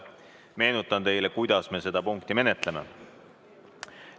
Meenutan teile, kuidas me seda punkti menetleme.